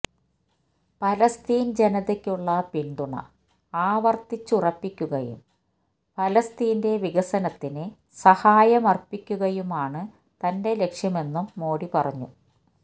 ഫലസ്തീൻ ജനതക്കുള്ള പിന്തുണ ആവർത്തിച്ചുറപ്പിക്കുകയും ഫലസ്തീന്റെ വികസനത്തിന് സഹായമർപ്പിക്കുകയുമാണ് തന്റെ ലക്ഷ്യമെന്നും മോഡി പറഞ്ഞു